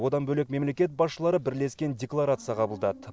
одан бөлек мемлекет басшылары бірлескен декларация қабылдады